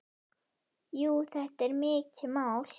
Jú, þetta er mikið mál.